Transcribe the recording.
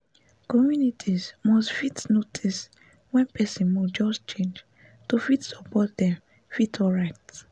communities must fit notice wen person mood just change to fit support dem fit alright